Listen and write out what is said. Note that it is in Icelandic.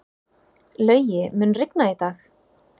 Laugi, mun rigna í dag?